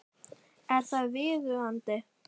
Er það viðunandi?